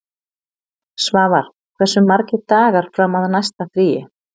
Svavar, hversu margir dagar fram að næsta fríi?